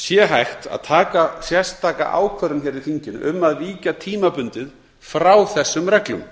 sé hægt að taka sérstaka ákvörðun í þinginu um að víkja tímabundið frá þessum reglum